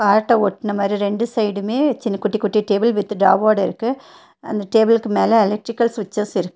காட்ட ஓட்டுன மாறி இரண்டு சைடுமே சின்ன குட்டி குட்டி டேபிள் வித் டிராவோடருக்கு அந்த டேபிளுக்கு மேல எலக்ட்ரிகல் சுவிட்சஸ் இருக்கு.